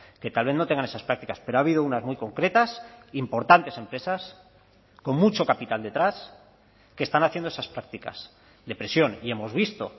que tal vez no tengan esas prácticas pero ha habido unas muy concretas importantes empresas con mucho capital detrás que están haciendo esas prácticas de presión y hemos visto